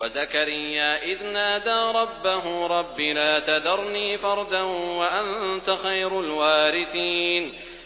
وَزَكَرِيَّا إِذْ نَادَىٰ رَبَّهُ رَبِّ لَا تَذَرْنِي فَرْدًا وَأَنتَ خَيْرُ الْوَارِثِينَ